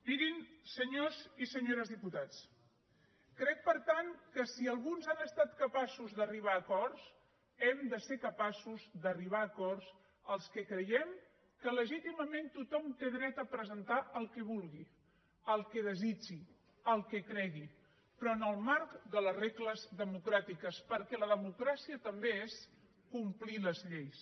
mirin senyors i senyores diputats crec per tant que si alguns han estat capaços d’arribar a acords hem de ser capaços d’arribar a acords els que creiem que legítimament tothom té dret a presentar el que vulgui el que desitgi el que cregui però en el marc de les regles democràtiques perquè la democràcia també és complir les lleis